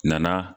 Nana